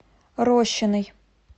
рощиной